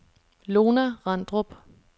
Lona Randrup